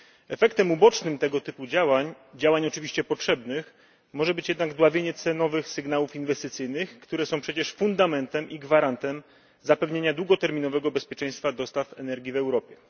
Efektem ubocznym tego typu działań działań oczywiście potrzebnych może być jednak dławienie cenowych sygnałów inwestycyjnych, które są przecież fundamentem i gwarantem zapewnienia długoterminowego bezpieczeństwa dostaw energii w Europie.